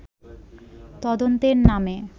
তদন্তে নামে